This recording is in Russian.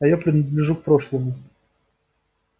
а я принадлежу к прошлому